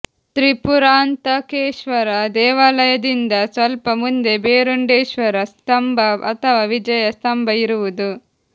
ತ್ರಿಪುರಾಂತಕೇಶ್ವರ ದೇವಾಲಯದಿಂದ ಸ್ವಲ್ಪ ಮುಂದೆ ಭೇರುಂಡೇಶ್ವರ ಸ್ತಂಭ ಅಥವಾ ವಿಜಯ ಸ್ತಂಭ ಇರುವುದು